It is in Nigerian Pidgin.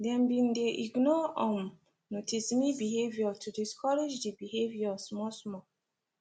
them been dey ignore um noticeme behaviour to discourage the behaviour small small